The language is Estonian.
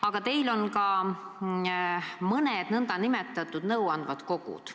Aga teil on ka mõned nn nõuandvad kogud.